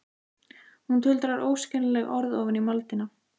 Hún tuldrar óskiljanleg orð ofan í moldina.